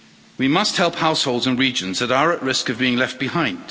We must help households in regions that are at risk of being left behind.